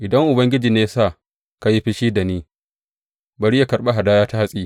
Idan Ubangiji ne ya sa ka yi fushi da ni, bari yă karɓi hadaya ta hatsi.